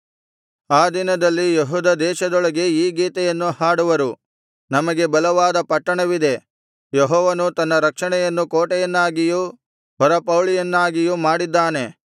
ಆ ದಿನದಲ್ಲಿ ಯೆಹೂದ ದೇಶದೊಳಗೆ ಈ ಗೀತೆಯನ್ನು ಹಾಡುವರು ನಮಗೆ ಬಲವಾದ ಪಟ್ಟಣವಿದೆ ಯೆಹೋವನು ತನ್ನ ರಕ್ಷಣೆಯನ್ನು ಕೋಟೆಯನ್ನಾಗಿಯೂ ಹೊರಪೌಳಿಯನ್ನಾಗಿಯೂ ಮಾಡಿದ್ದಾನೆ